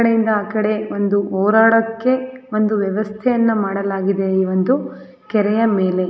ಇಕಡೆ ಇಂದ ಆಕಡೆ ಒಂದು ಓಡಾಡಕ್ಕೆ ಒಂದು ವ್ಯವಸ್ಥೆ ಯನ್ನ ಮಾಡಲಾಗಿದೆ ಒಂದು ಕೆರೆಯ ಮೇಲೆ.